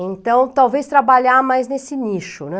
Então, talvez trabalhar mais nesse nicho, né.